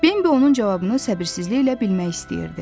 Bembi onun cavabını səbirsizliklə bilmək istəyirdi.